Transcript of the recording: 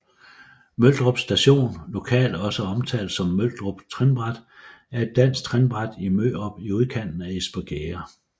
Mørdrup Station lokalt også omtalt som Mørdrup Trinbræt er et dansk trinbræt i Mørdrup i udkanten af Espergærde